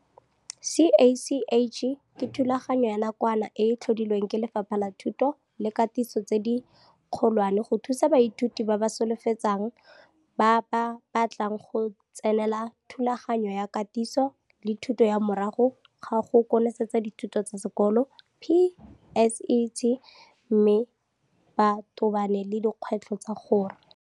CACH ke thulaganyo ya nakwana e e tlhodilwe ke Lefapha la Thuto le Katiso tse di Kgolwane go thusa baithuti ba ba solofetsang ba ba batlang go tsenela Thulaganyo ya Katiso le Thuto ya Morago ga go Konosetsa Dithuto tsa Sekolo, PSET, mme ba tobane le dikgwetlho tsa gore